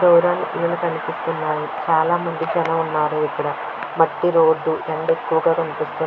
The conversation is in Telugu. దూరానికి కనిపిస్తున్నారు చాలా మంది జనం ఉన్నారు ఇక్కడ మట్టి రోడ్డు ఎండ ఎక్కువుగా కనిపిస్తుంది.